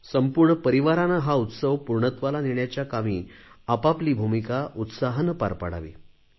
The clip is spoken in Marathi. संपूर्ण परिवाराने हा उत्सव पूर्णत्वाला नेण्याच्या कामी आपापली भूमिका उत्साहाने पार पाडावी